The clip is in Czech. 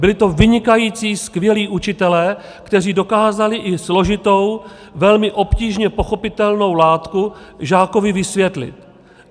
Byli to vynikající, skvělí učitelé, kteří dokázali i složitou, velmi obtížně pochopitelnou látku žákovi vysvětlit.